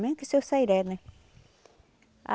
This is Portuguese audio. Mesmo que o seu Sairé, né? A